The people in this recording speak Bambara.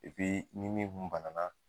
ni min kun banana.